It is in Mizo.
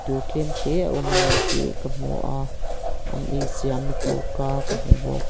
in tlem te a awm ani tih ka hmu a an ei siam na cho ka ka hmu bawk.